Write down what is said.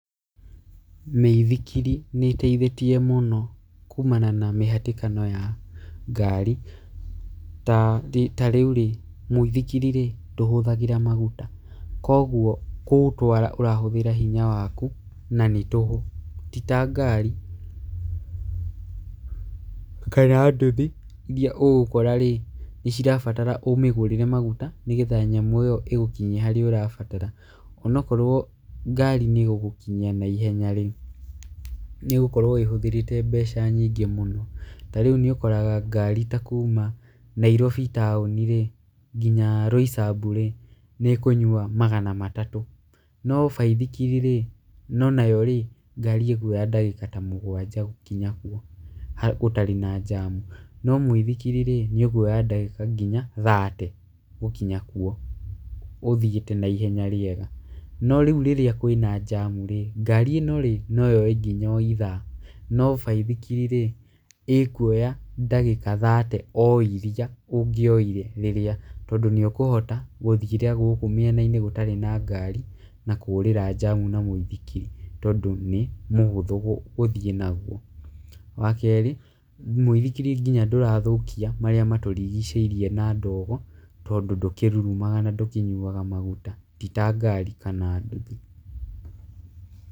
Mĩithikiri nĩĩteithĩtie mũno kũmana na mĩhatĩkano ya ngari, taa thi ta, rĩũ mũithikirirĩ ndũhũthagĩra magũta. Kũogũo kũũtwara ũrahũthĩra hinya wakũ na nĩ tũhũ. Ti ta ngari kana ndũthi iria ũgũkorarĩ, nĩcirabatara ũmĩgũrĩre magũta nĩgetha nyamũ ĩyo ũgũkinyie harĩa ũrabatara. Onakorũo ngari nĩĩgũgũkinyia naihenyarĩ, nĩĩgũkorwo ĩhũthĩrĩte mbeci nyingĩ mũno. Tarĩũ nĩũkoraga ngari ta kũma Nairobi town nginya Roysambu nĩĩkũnyũa magana matatũ. No baithikirirĩ no nayorĩ, ngari ĩkũoya ndagĩka ta mũgwanja gũkinya kũo harĩ, gũtarĩ na njamũ. No mũithikirirĩ nĩũkũoya ndagĩka ta nginya thate gũkinya kũo ũthiĩte na ihenya rĩega. No rĩũ rĩrĩa kwĩna njamũrĩ ngari ĩnorĩ noyoe nginya o ithaa, na baithikirirĩ, ĩkũoya ndagĩka thate o iria ũngĩoire rĩrĩa, tondũ nĩũkũhota gũthiĩra gũkũ mĩena-inĩ gũtarĩ na ngari na kũũrĩra njamĩ na mũithikiri. Tondũ nĩ mũhũthũ gũthiĩ nagũo . Wakerĩ, mũithikiri nginya ndũrathũkia marĩa matũrigicĩirie na ndogo tondũ ndũkĩrũrũmaga nandũkĩnyũaga magũta. Ti ta ngari kana ndũthi.